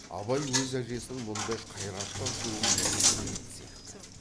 абай өз әжесінің мұндай қайратты ашуын бұрын көрмеген сияқты